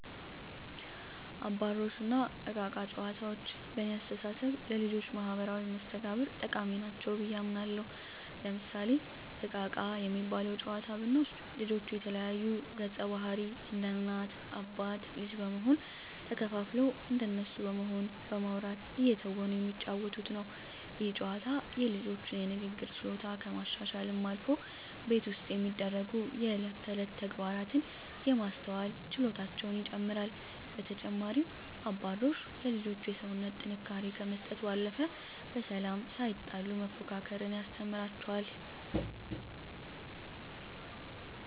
አባሮሽ እና እቃ እቃ ጨዋታዎች በእኔ አስተሳሰብ ለልጆች ማህበራዊ መስተጋብር ጠቃሚ ናቸው ብየ አምናለሁ። ለምሳሌ እቃ እቃ የሚባለውን ጨዋታ ብንወስድ ልጆች የተለያዩ ገፀባህርይ እንደ እናት አባት ልጅ በመሆን ተከፋፍለው እንደነሱ በመሆን በማዉራት እየተወኑ የሚጫወቱት ነው። ይህ ጨዋታ የልጆቹን የንግግር ችሎታ ከማሻሻልም አልፎ ቤት ውስጥ የሚደሰጉ የእለት ተእለት ተግባራትን የማስተዋል ችሎታቸውን ይጨመራል። በተጨማሪም አባሮሽ ለልጆች የሰውነት ጥንካሬ ከመስጠት ባለፈ በሰላም ሳይጣሉ መፎካከርን ያስተምራል።